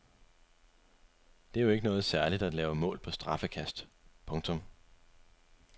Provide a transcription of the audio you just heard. Det er jo ikke noget særligt at lave mål på straffekast. punktum